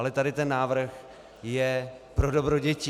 Ale tady ten návrh je pro dobro dětí.